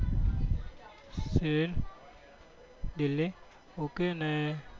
એ છેલ્લે ok ને